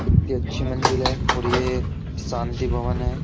कितनी अच्छी मंजिल है और ये शांति भवन है।